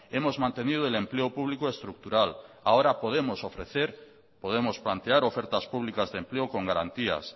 hemos mantenido el empleo público estructural ahora podemos ofrecer podemos plantear ofertas públicas de empleo con garantías